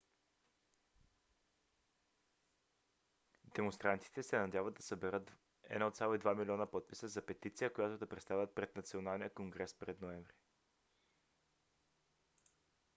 демонстрантите се надяват да съберат 1,2 милиона подписа за петиция която да представят пред националния конгрес през ноември